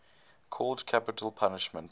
called capital punishment